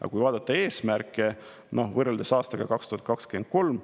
Aga vaatame eesmärke ja võrdleme aastaga 2023.